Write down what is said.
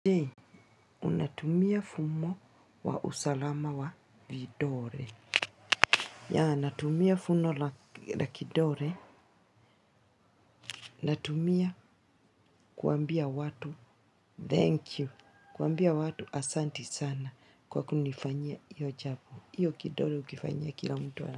Je, unatumia fumo wa usalama wa vidole. Ya, natumia funo la la kidore. Natumia kuambia watu, thank you. Kuambia watu asanti sana kwa kunifanyia hio jambo hio kidore ukifanyia kila mtu.